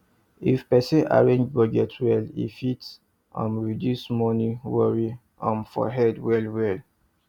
if person arrange budget well e fit um reduce money worry um for head well well